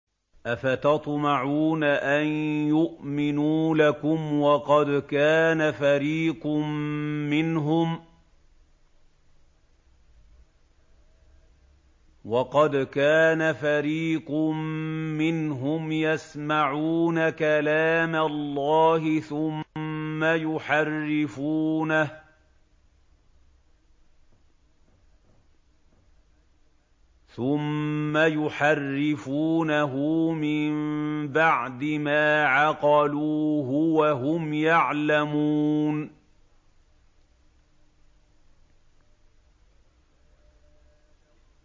۞ أَفَتَطْمَعُونَ أَن يُؤْمِنُوا لَكُمْ وَقَدْ كَانَ فَرِيقٌ مِّنْهُمْ يَسْمَعُونَ كَلَامَ اللَّهِ ثُمَّ يُحَرِّفُونَهُ مِن بَعْدِ مَا عَقَلُوهُ وَهُمْ يَعْلَمُونَ